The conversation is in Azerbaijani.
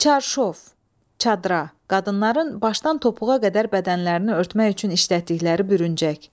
Çarşov, çadıra, qadınların başdan topuğa qədər bədənlərini örtmək üçün işlətdikləri bürüncək.